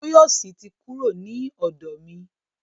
Tóyọ̀sí ti kúrò ni ọ̀dọ̀ mi.